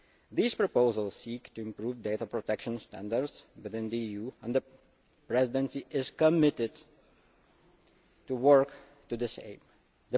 These proposals seek to improve data protection standards within the EU, and the Presidency is committed to work to the same